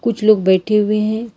कुछ लोग बैठे हुए हैं।